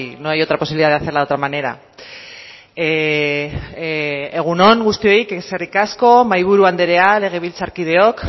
no hay otra posibilidad de hacerla de otra manera egun on guztioi eskerrik asko mahaiburu andrea legebiltzarkideok